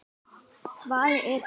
Vaðið er yfir hina.